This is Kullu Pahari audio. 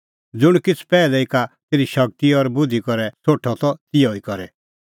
ज़ुंण किछ़ पैहलै ई का तेरी शगती और बुधि करै सोठअ त तिहअ ई करे